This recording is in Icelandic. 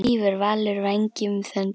Svífur Valur vængjum þöndum?